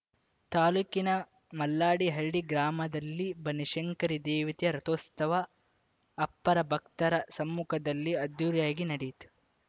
ತಾಲೂಕಿನ ಮಲ್ಲಾಡಿಹಳ್ಳಿ ಗ್ರಾಮದಲ್ಲಿ ಬನಶಂಕರಿ ದೇವತೆಯ ರಥೋಸ್ತವ ಅಪ್ಪಾರ ಭಕ್ತರ ಸಮ್ಮುಖದಲ್ಲಿ ಅದ್ಧೂರಿಯಾಗಿ ನಡೆಯಿತು